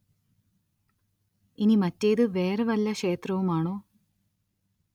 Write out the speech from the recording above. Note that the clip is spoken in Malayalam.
ഇനി മറ്റേത് വേറെ വല്ല ക്ഷേത്രവും ആണോ